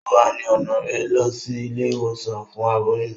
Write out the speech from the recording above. O wá ni ọna rẹ lọ sí ilé-ìwòsàn fún aboyún